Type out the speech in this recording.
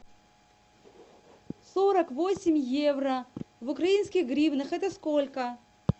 сорок восемь евро в украинских гривнах это сколько